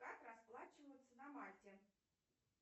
как расплачиваются на мальте